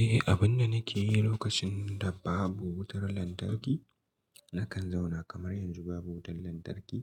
Eh, abun da nake yi lokacin da babu wutar lantarki, nakan zauna kamar yanzu babu wutar lantarki.